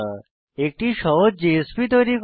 একটি সহজ জেএসপি তৈরি করা